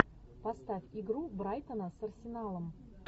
поставь игру брайтона с арсеналом